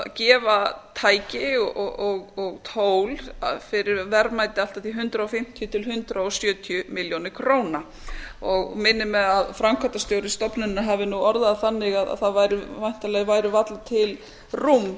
gefa tæki og tól fyrir verðmæti allt að hundrað fimmtíu til hundrað sjötíu milljónum króna og minnir mig að framkvæmdastjóri stofnunarinnar hafi orðað það þannig að væntanlega væri varla til rúm